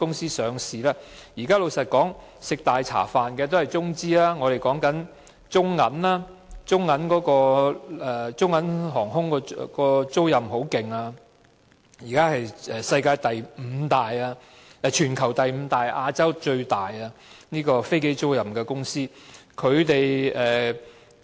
老實說，現在吃"大茶飯"的都是中資公司，例如中銀航空租賃的飛機租賃業務蓬勃發展，現時是全球第五大和亞洲最大的飛機租賃公司。